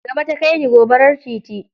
Gaba ta kai ni, gobarar titi.